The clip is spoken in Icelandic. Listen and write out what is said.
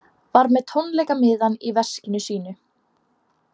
Var með tónleikamiðann í veskinu sínu.